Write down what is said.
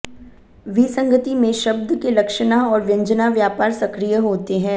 विसंगति में शब्द के लक्षणा और व्यंजना व्यापार सक्रिय होते हैं